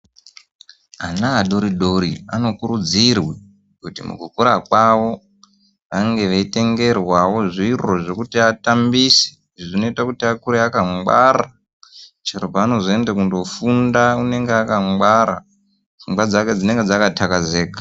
Ana adori dori anokurudzirwa kuti mukukura kwavo vanenge veitengerwawo zviro zvekuti atambise zvinoita kuti akure akangwara chero panozoende kundofunda unenge aka ngwara pfungwa dzake dzinonga dzakatakazeka.